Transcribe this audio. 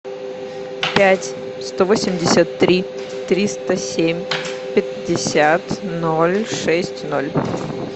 пять сто восемьдесят три триста семь пятьдесят ноль шесть ноль